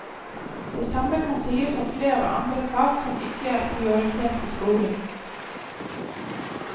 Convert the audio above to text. Det samme kan sies om flere andre fag som ikke er prioritert i skolen.